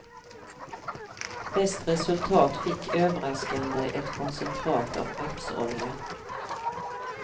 Bäst resultat fick överraskande ett koncentrat av rapsolja.